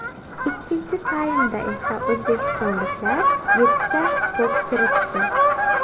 Ikkinchi taymda esa o‘zbekistonliklar yettita to‘p kiritdi.